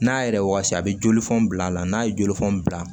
N'a yɛrɛ wasa a bɛ jolifɔn bila a la n'a ye jolifɔni bila